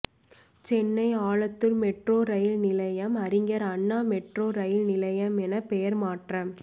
Chennai Alandur metro rail நிலையம் Arignar Anna metro rail நிலையம் என பெயர் மாற்றம்